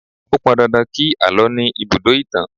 Ó pọn dandan kí àlọ́ ní ibùdó ìtàn